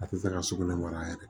A tɛ fɛ ka sugunɛ mara yɛrɛ